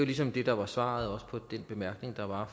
ligesom det der var svaret også til den bemærkning der var